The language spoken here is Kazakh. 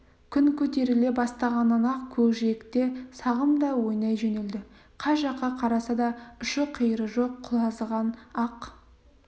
күн көтеріле бастағаннан-ақ көкжиекте сағым да ойнай жөнелді қай жаққа қараса да ұшы-қиыры жоқ құлазыған ақ